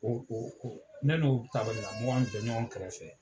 Ne n'o tabali kan mɔgɔ kun be tɔɲɔgɔn kɛrɛfɛ.